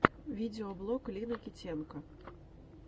видеоблог лины китенко